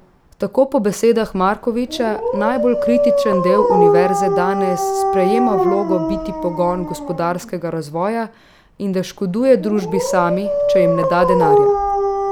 Tako po besedah Markovića najbolj kritičen del univerze danes sprejema vlogo biti pogon gospodarskega razvoja in da škoduje družbi sami, če jim ne da denarja.